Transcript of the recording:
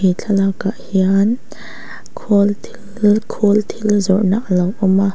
he thlalak ah hian khawl thil khawl thil zawrhna a lo awm a.